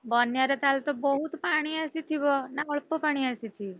ବନ୍ୟାରେ ତାହେଲେ ତ ବହୁତ୍ ପାଣି ଆସିଥିବ ନା ଅଳ୍ପ ପାଣି ଆସିଛି?